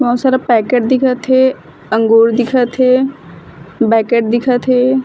बहुत सारा पैकेट दिखत हे अंगुर दिखत हे बकेट दिखत हे।